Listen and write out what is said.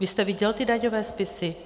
Vy jste viděl ty daňové spisy?